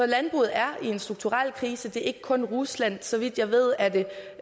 landbruget er i en strukturel krise det er ikke kun rusland så vidt jeg ved er det